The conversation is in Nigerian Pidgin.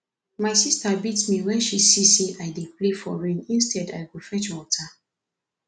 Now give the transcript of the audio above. my sister beat me wen she see say i dey play for rain instead i go fetch water